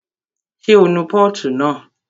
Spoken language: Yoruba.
Ṣé o nu pọ́ọ̀tù náà?